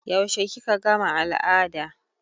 Yaushe kika gama al'ada?